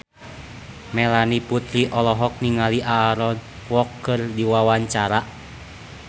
Melanie Putri olohok ningali Aaron Kwok keur diwawancara